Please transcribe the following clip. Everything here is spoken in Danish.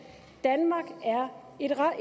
danmark er